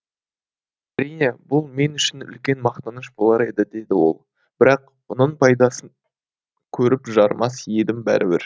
әрине бұл мен үшін үлкен мақтаныш болар еді деді ол бірақ мұның пайдасын көріп жарымас едім бәрібір